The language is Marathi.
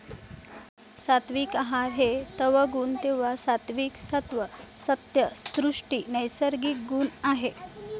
सात्विक आहार हे तवगुण तेव्हा सात्विक सत्व सत्य सृष्टी नैसर्गिक गुण आहे